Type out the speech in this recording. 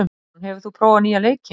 Ásrún, hefur þú prófað nýja leikinn?